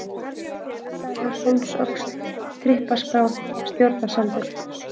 Deildardalur, Hólsöxl, Trippaskál, Stjórnarsandur